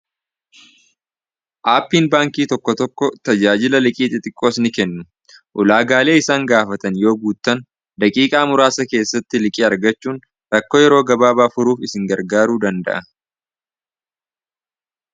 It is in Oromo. Aappiin baankii tokko tokko tajaajila liqii xixiqqoos ni kennu. Ulaagaalee isaan gaafatan yoo guuttan daqiiqaa muraasa keessatti liqii argachuun rakkoo yeroo gabaabaa furuuf isin gargaaruu danda'a.